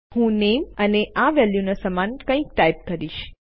હું નેમ અને આ વેલ્યુના સમાન કઈક ટાઇપ કરીશ